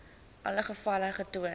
alle gevalle getoon